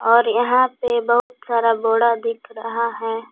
और यहां पे बहुत सारा बोडा दिख रहा है।